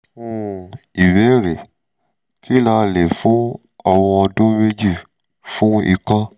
um ìbéèrè: kí ni a lè fún ọmọ ọdún méjì fún ikọ́?